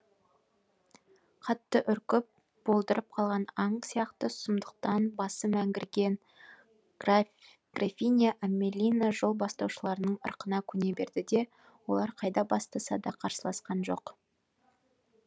қатты үркіп болдырып қалған аң сияқты сұмдықтан басы мәңгірген графиня амелина жол бастаушыларының ырқына көне берді де олар қайда бастаса да қарсыласқан жоқ